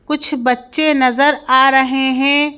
कुछ बच्चे नजर आ रहें हैं।